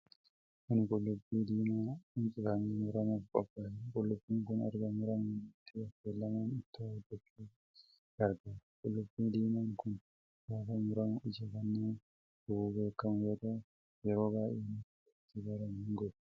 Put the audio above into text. Kun qullubbii diimaa quncifamee muramuuf qophaa'edha. Qullubbiin kun erga muramee booddee affeelamuun ittoo hojjachuuf gargaara. Qullubbii diimaan kun gaafa muramu ija kan nama gubuun beekamu yoo ta'u, yeroo baay'ee namoota itti baran hin gubu.